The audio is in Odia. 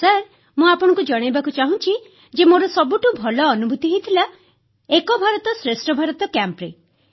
ସାର୍ ମୁଁ ଆପଣଙ୍କୁ ଜଣାଇବାକୁ ଚାହୁଁଛି ଯେ ମୋର ସବୁଠୁ ଭଲ ଅନୁଭୂତି ହୋଇଥିଲା ଏକ ଭାରତ ଶ୍ରେଷ୍ଠ ଭାରତ କ୍ୟାମ୍ପରେ